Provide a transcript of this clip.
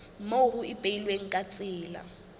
moo ho ipehilweng ka tsela